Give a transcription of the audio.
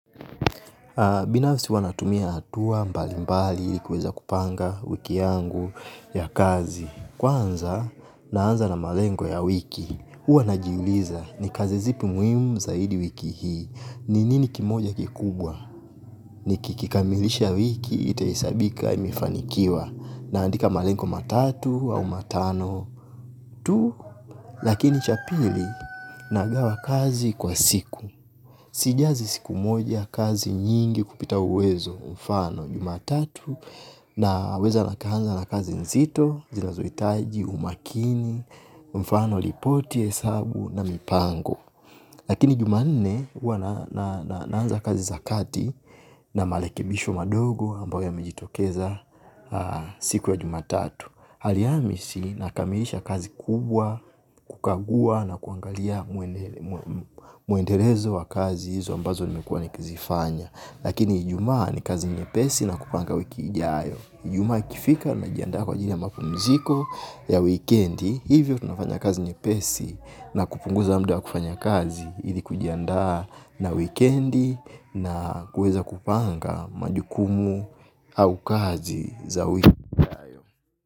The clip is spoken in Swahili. Binafsi huwa natumia hatua mbali mbali ili kuweza kupanga wiki yangu ya kazi. Kwanza, naanza na malengo ya wiki. Huwa najiuliza ni kazi zipi muimu zaidi wiki hii. Ni nini kimoja kikubwa. Ni kikikamilisha wiki itahesabika imifanikiwa. Naandika malengo matatu au matano. Tu lakini cha pili nagawa kazi kwa siku sijazi siku moja kupita kazi nyingi kupita uwezo kwa mfano jumatatu na weza nika anza na kazi nzito, zinazohitaji, umakini, mfano ripoti, hesabu na mipango. Lakini jumanne huwa naanza kazi za kati na marekebisho madogo ambayo yamejitokeza siku ya jumatatu. Alhamisi nakamilisha kazi kubwa, kukagua na kuangalia muendelezo wa kazi hizo ambazo nimekuwa nikizifanya. Lakini ijumaa ni kazi nyepesi na kupanga wiki ijayo. Jumaa ikifika najiandaa kwa ajili ya mapumziko ya wikendi, hivyo tunafanya kazi nyepesi na kupunguza muda wa kufanya kazi ili kujiandaa na wikendi na kuweza kupanga majukumu au kazi za wiki ijayo.